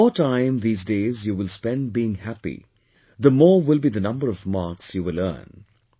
The more time these days you will spend being happy, the more will be the number of marks you will earn